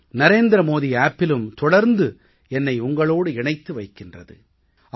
இப்போது 11 மணிக்கு மன் கீ பாத் மனதின் குரல் ஒலிபரப்பாகும் ஆனால் மாநில மொழிகளில் இது நிறைவடைந்த உடனேயே தொடங்கி விடும்